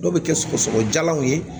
Dɔw bɛ kɛ sɔgɔsɔgɔ jalanw ye